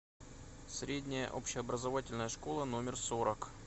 средняя общеобразовательная школа номер сорок